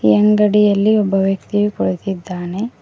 ಈ ಅಂಗಡಿಯಲ್ಲಿ ಒಬ್ಬ ವ್ಯಕ್ತಿಯು ಕುಳಿತ್ತಿದ್ದಾನೆ.